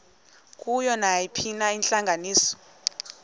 kuyo nayiphina intlanganiso